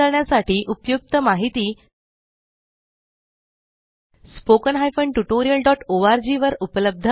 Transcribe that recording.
अभ्यास करण्यासाठी उपयुक्त माहिती spoken tutorialओआरजी